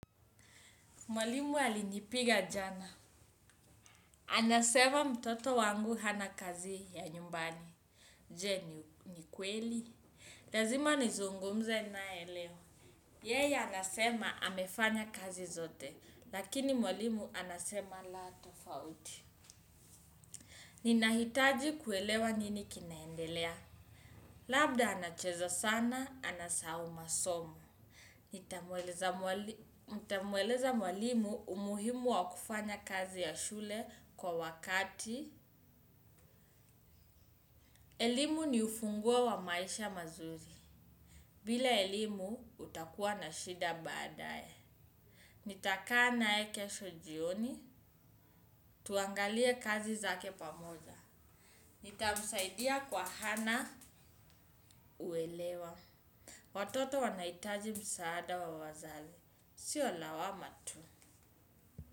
Mwalimu alinipiga jana. Anasema mtoto wangu hana kazi ya nyumbani. Je ni kweli. Lazima nizungumze nae leo. Yeye anasema amefanya kazi zote. Lakini mwalimu anasema la tofauti. Ninahitaji kuelewa nini kinaendelea. Labda anacheza sana, anasahau masomo. Nitamueleza mwalimu umuhimu wa kufanya kazi ya shule kwa wakati. Elimu ni ufunguo wa maisha mazuri. Bila elimu utakuwa na shida baadae. Nitakaa nae kesho jioni. Tuangalie kazi zake pamoja. Nitamsaidia kwenye hana uelewa. Watoto wanahitaji msaada wa wazazi. Sio lawama.